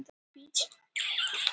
Þeir sáust ekki í dag.